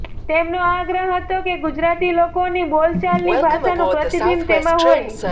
તેમનો આગ્રહ હતો કે ગુજરાતી લોકોની બોલચાલની ભાષાનું પ્રતિબિંબ તેમાં હોય